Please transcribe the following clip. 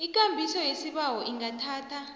ikambiso yesibawo ingathatha